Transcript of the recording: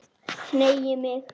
Hneigi mig.